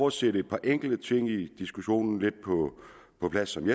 at sætte et par enkelte ting i diskussionen lidt på plads ud